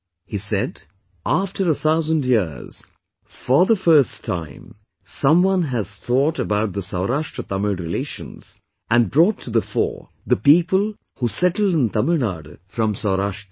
He said that "After a thousand years, for the first time someone has thought about the SaurashtraTamil relations, and brought to the fore the people who settled in Tamil Nadu from Saurashtra